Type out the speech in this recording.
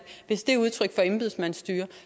hvis det er udtryk for embedsmandsstyre